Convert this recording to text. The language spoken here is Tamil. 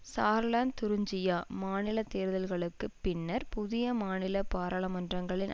சார்லாந்து துரிஞ்சியா மாநில தேர்தல்களுக்கு பின்னர் புதிய மாநில பாராளுமன்றங்களின்